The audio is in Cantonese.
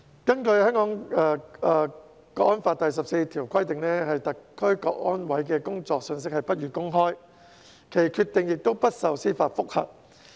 《香港國安法》第十四條規定，香港國安委的工作信息不予公開，其決定亦不受司法覆核。